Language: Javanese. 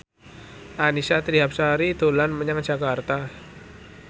Annisa Trihapsari dolan menyang Jakarta